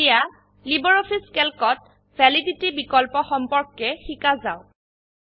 এতিয়া লাইব্ৰঅফিছ ক্যালকত ভেলিডিটি বিকল্প সম্পৰ্কে শিকা যাওক